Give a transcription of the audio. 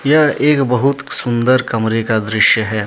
एक बहुत सुंदर कमरे का दृश्य है।